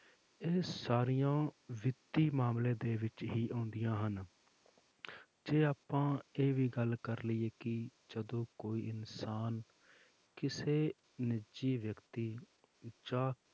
ਇਹ ਸਾਰੀਆਂ ਵਿੱਤੀ ਮਾਮਲੇ ਦੇ ਵਿੱਚ ਹੀ ਆਉਂਦੀਆਂ ਹਨ ਜੇ ਆਪਾਂ ਇਹ ਵੀ ਗੱਲ ਕਰ ਲਈਏ ਕਿ ਜਦੋਂ ਕੋਈ ਇਨਸਾਨ ਕਿਸੇ ਨਿੱਜੀ ਵਿਅਕਤੀ ਜਾਂ